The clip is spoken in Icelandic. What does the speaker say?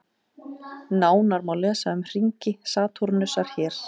Nánar má lesa um hringi Satúrnusar hér.